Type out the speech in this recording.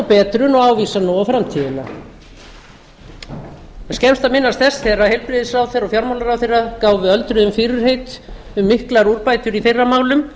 betrun og ávísa nú á framtíðina það er skemmst að minnast þess þegar heilbrigðisráðherra og fjármálaráðherra gáfu öldruðum fyrirheit um miklar úrbætur í þeirra málum